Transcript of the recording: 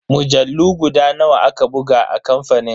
Mujallu guda nawa aka buga a kamfanin?